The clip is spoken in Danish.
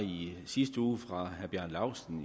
i sidste uge for herre bjarne laustsen